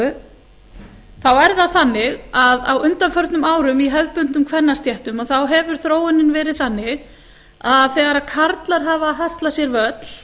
er það þannig að á undanförnum árum í hefðbundnum kvennastéttum að þá hefur þróunin verið þannig að þegar karlar hafa haslað sér völl